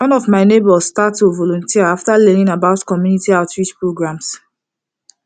one of my neighbors start to volunteer after learning about community outreach programs